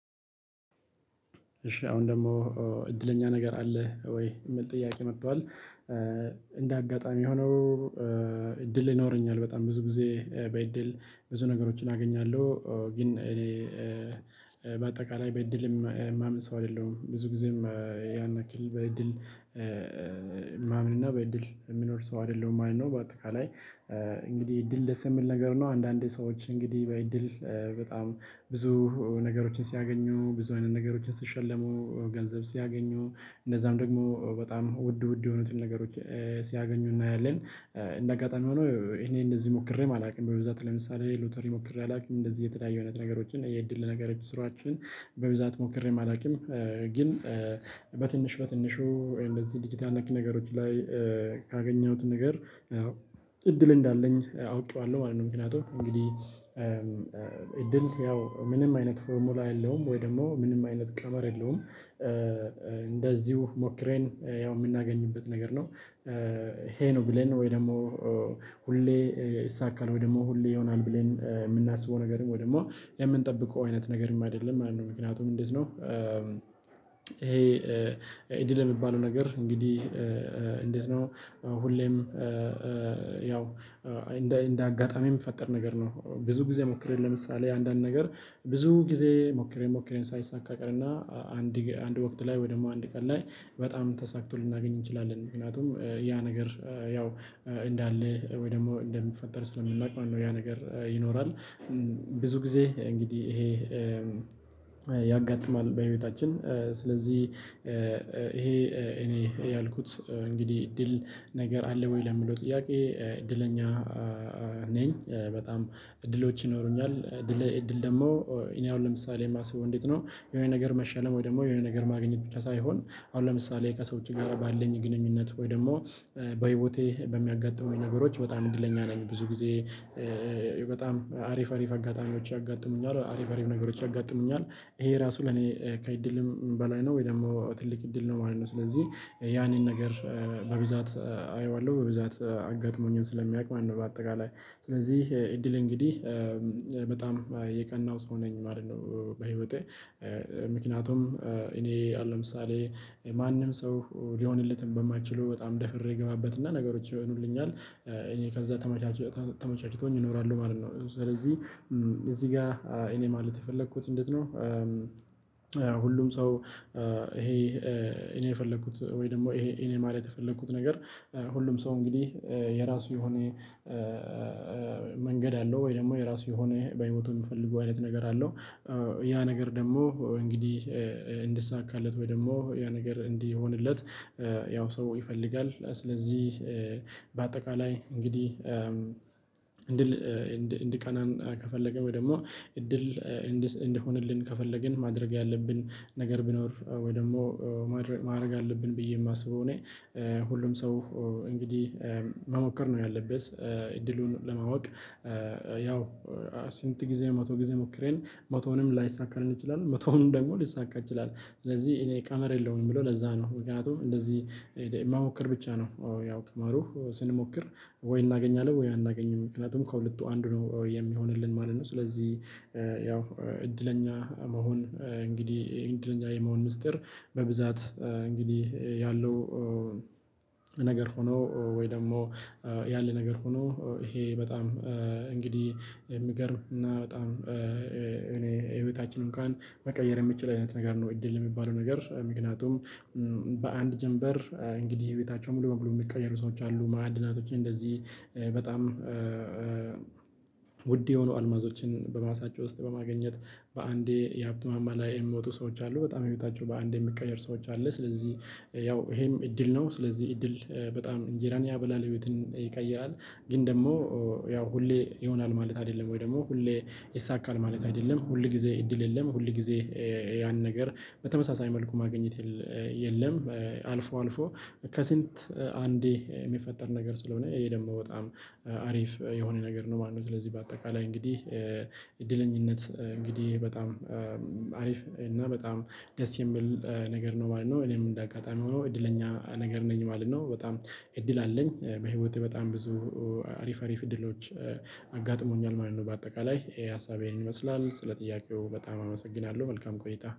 እሺ አሁን ደግሞ እድለኛ ነገር አለህ ወይ የምል ጥያቄ መጥቷል? እንደ አጋጣሚ ሆኖ እድል ይኖረኛል በጣም ብዙ ጊዜ በእድል ብዙ ነገሮችን አገኛለሁ። ግን እኔ በአጠቃላይ በእድልም የማምን ሰው አይደለሁም ብዙ ጊዜም ያን ያክል በእድል የማምንና እና በእድል የምኖር ሰው አይደለዉም ማለት ነው። በአጠቃላይ እንግዲህ እድል ደስ የምል ነገር ነው። አንዳንዴ ሰዎች እንግዲህ በእድል በጣም ብዙ ነገሮችን ሲያገኙ ብዙ አይነት ነገሮችን ሲሸለሙ ገንዘብ ሲያገኙ እንደዛም ደግሞ በጣም ውድ ውድ የሆኑትን ነገሮች ሲያገኙ እናያለን። እንደ አጋጣሚ ሆኖ እኔ እንደዚህ ሞክሬ አላቅም። በብዛት ለምሳሌ ሎተሪ ሞክሬ አላቅም እንደዚህ የተለያዩ አይነት ነገሮችን የእድል ነገሮች ስራዎችን በብዛት ሞክሬም አላቅም። ግን በትንሽ በትንሹ ወይም እንደዚህ ዲጂታል ነክ ነገሮች ላይ ካገኘሁት ነገር እድል እንዳለኝ አውቄዋለሁ ማለት ነው። ምክንያቱም እንግዲህ እድል ያው ምንም አይነት ፎርሙላ የለውም ወይ ደግሞ ምንም አይነት ቀመር የለውም። እንደዚሁ ሞክሬን ያው የምናገኝበት ነገር ነው። ይሄ ነው ብለን ወይ ደግሞ ሁሌ ይሳካል ወይ ደግሞ ሁሌ ይሆናል ብለን የምናስበው ነገር ወይ ደግሞ የምንጠብቀው አይነት ነገርም አይደለም ማለት ነው። ምክንያቱም እንዴት ነው? ይሄ እድል የሚባለው ነገር እንግዲህ እንዴት ነው ሁሌም ያው እንደ አጋጣሚ የሚፈጠር ነገር ነው። ብዙ ጊዜ ሞክሬን ለምሳሌ አንዳንድ ነገር ብዙ ጊዜ ሞክሬ ሞክሬን ሳይሳካ ይቀረና አንድ አንድ ወቅት ላይ ወይ ደግሞ አንድ ቀን ላይ በጣም ተሳክቶ ልናገኝ እንችላለን ምክንያቱም። ያ ነገር ያው እንዳለህ ወይ ደግሞ እንደሚፈጥር ስለምናቅ ማለት ነው። ያ ነገር ይኖራል። ብዙ ጊዜ እንግዲህ ይሄ ያጋጥማል በህይወታችን። ስለዚህ ይሄ እኔ ያልኩት እንግዲህ እድል ነገር አለ ወይ ለሚለው ጥያቄ። እድለኛ ነኝ በጣም እድሎች ይኖሩኛል። እድሌ እድል ደግሞ እኔ አሁን ለምሳሌ የማስበው እንዴት ነው የሆነ ነገር መሸለም ወይ ደግሞ የሆነ ነገር ማግኘት ብቻ ሳይሆን አሁን ለምሳሌ ከሰዎች ጋር ባለኝ ግንኙነት ወይ ደግሞ በህይወቴ በሚያጋጥሙኝ ነገሮች በጣም እድለኛ ነኝ። ብዙ ጊዜ በጣም አሪፍ አሪፍ አጋጣሚዎች ያጋጥሙኛል አሪፍ አሪፍ ነገሮች ያጋጥሙኛል። ይሄ ራሱ ለኔ ከእድልም በላይ ነው ወይ ደግሞ ትልቅ እድል ነው ማለት ነው። ስለዚህ ያንን ነገር በብዛት አየዋለሁ በብዛት አጋጥሞኝም ስለሚያውቅ ማለት በአጠቃላይ ስለዚህ እድል እንግዲህ በጣም የቀናው ሰው ነኝ ማለት ነው። በህይወቴ ምክንያቱም እኔ አሁን ለምሳሌ ማንም ሰው ሊሆንልትም በማይችለው በጣም ደፍሬ ገባበት እና ነገሮች ይሆኑልኛል እኔ ከዛ ተመቻች ተመቻችቶኝ እኖራለሁ ማለት ነው። ስለዚህ እዚህ ጋር እኔ ማለት የፈለኩት እንዴት ነው? ሁሉም ሰው ይሄ እኔ የፈለኩት ወይ ደግሞ ይሄ እኔ ማለት የፈለኩት ነገር ሁሉም ሰው እንግዲህ የራሱ የሆነ መንገድ አለው። ወይ ደግሞ የራሱ የሆነ በህይወቱ የሚፈልገው አይነት ነገር አለው። ያ ነገር ደግሞ እንግዲህ እንድሳካለት ወይ ደግሞ ያ ነገር እንዲሆንለት ያው ሰው ይፈልጋል። ስለዚህ በአጠቃላይ እንግዲህ እንድል እንድቀናም ከፈለገ ወይ ደግሞ እድል እንዲሆነልን ከፈለግን ማድረግ ያለብን ነገር ብኖር ወይ ደግሞ ማድረ ማድረግ አለብን ብዬ የማስበው እኔ ሁሉም ሰው እንግዲህ መሞከር ነው ያለበት እድሉን ለማወቅ። ያው ስንት ጊዜ መቶ ጊዜ ሞክሬን መቶውንም ላይሳካልን ይችላል መቶውንም ደግሞ ሊሳካ ይችላል። ስለዚህ እኔ ቀመር የለውም የምለው ለዛ ነው። ምክንያቱም እንደዚህ መሞክር ብቻ ነው። ያው ቀመሩ ስንሞክር ወይ እናገኛለን ወይ አናገኝም ምክንያቱም ከሁለቱ አንድ ነው የሚሆንልን ማለት ነው። ስለዚህ ያው እድለኛ መሆን እንግዲህ እድለኛ የመሆን ምስጢር በብዛት እንግዲህ ያለው ነገር ሆኖ ወይ ደግሞ ያለ ነገር ሆኖ ይሄ በጣም እንግዲህ የሚገርም እና በጣም እኔ ህይወታችን እንኳን መቀየር የምችል አይነት ነገር ነው። እድል የሚባለው ነገር ምክንያቱም በአንድ ጀምበር እንግዲህ ህይወታቸው ሙሉ ሙሉ የሚቀይሩ ሰዎች አሉ። ማዕድናቶች እንደዚህ በጣም ውድ የሆኑ አልማዞችን በማሳቸው ውስጥ በማግኘት በአንዴ የሀብት ማማ ላይ የሚወጡ ሰዎች አሉ። በጣም ህይወታቸው በአንዴ የሚቀየር ሰዎች አሉ። ስለዚህ ያው ይሄም እድል ነው ስለዚህ እድል በጣም እንጀራን ያበላል ህይወትን ይቀይራል። ግን ደግሞ ያው ሁሌ ይሆናል ማለት አይደለም ወይ ደግሞ ሁሌ ይሳካል ማለት አይደለም። ሁል ጊዜ እድል የለም ሁል ጊዜ ያን ነገር በተመሳሳይ መልኩ ማግኘት የለም። አልፎ አልፎ ከስንት አንዴ የሚፈጠር ነገር ስለሆነ ይሄ ደግሞ በጣም አሪፍ የሆነ ነገር ነው ማለት ነው። ስለዚህ በአጠቃላይ እንግዲህ እድለኝነት እንግዲህ በጣም አሪፍ እና በጣም ደስ የሚል ነገር ነው ማለት ነው። እኔም እንደ አጋጣሚ ሆኖ እድለኛ ነገር ነኝ ማለት ነው በጣም እድል አለኝ በህይወቴ በጣም ብዙ አሪፍ አሪፍ እድሎች አጋጥሞኛል ማለት ነው። በአጠቃላይ ይሄ ሀሳቤ ይሄን ይመስላል ስለ ጥያቄው በጣም አመሰግናለሁ። መልካም ቆይታ